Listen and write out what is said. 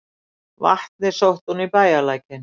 Vatnið sótti hún í bæjarlækinn.